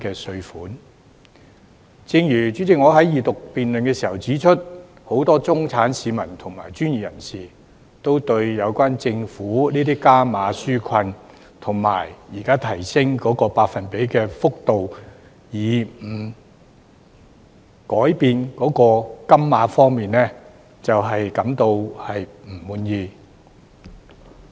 主席，正如我在二讀辯論時指出，很多中產市民和專業人士，均對於政府的加碼紓困措施現時只提升百分比幅度，卻沒有改變金額，感到不滿意。